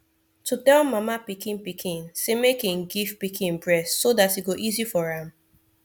to tell mama pikin pikin say make im give pikin breast so that e go easy for am